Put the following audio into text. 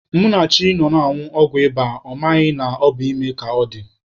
Munachi nọ na-anwụ ọgwụ ịba, ọ maghị na ọ bụ ime ka ọ dị.